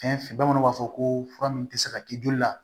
Fɛn fɛn bamananw b'a fɔ ko fura min tɛ se ka k'i joli la